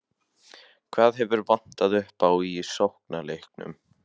Hvað hefur vantað upp á í sóknarleiknum?